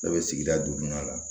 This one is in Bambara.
Ne bɛ sigida duurunan la